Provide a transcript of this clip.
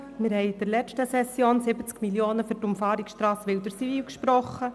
Wir haben in der letzten Session 70 Mio. Franken für die Umfahrungsstrasse Wilderswil gesprochen.